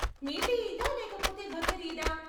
మీఠీ ఈదా లేకపొతే బకర్ ఈదా?